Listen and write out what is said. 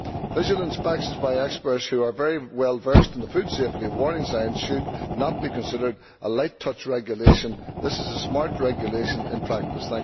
Visual inspections by experts who are very well versed in the food safety warning signs should not be considered a light touch regulation. This is smart regulation in practice.